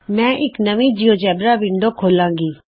ਮੈਂ ਇਕ ਨਵੀਂ ਜਿਉਜੇਬਰਾ ਵਿੰਡੋ ਖੋਲ੍ਹਾਂਗੀ